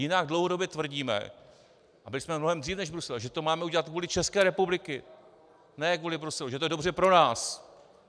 Jinak dlouhodobě tvrdíme, a byli jsme mnohem dříve než Brusel, že to máme udělat kvůli České republice, ne kvůli Bruselu, že to je dobře pro nás.